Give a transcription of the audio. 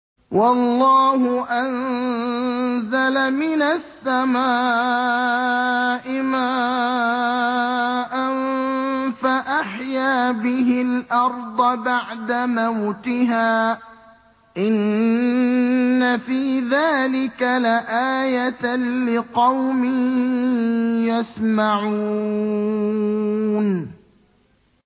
وَاللَّهُ أَنزَلَ مِنَ السَّمَاءِ مَاءً فَأَحْيَا بِهِ الْأَرْضَ بَعْدَ مَوْتِهَا ۚ إِنَّ فِي ذَٰلِكَ لَآيَةً لِّقَوْمٍ يَسْمَعُونَ